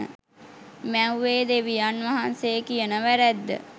මැව්වේ දෙවියන් වහන්සේ කියන වැරැද්ද